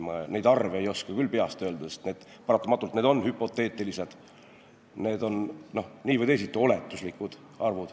Ma neid arve ei oska küll peast öelda, sest paratamatult on need hüpoteetilised, need on nii või teisiti oletuslikud.